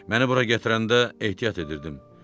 Məni bura gətirəndə ehtiyat edirdim.